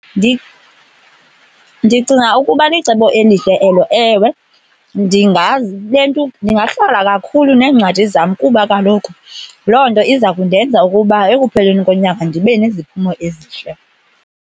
Ndicinga ukuba licebo elihle elo. Ewe, ndingalentuka, ndingahlala kakhulu neencwadi zam kuba kaloku loo nto iza kundenza ukuba ekupheleni konyaka ndibe neziphumo ezihle.